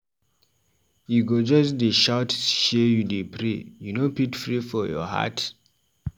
You go just dey shout sey you dey pray, you no fit pray for your heart?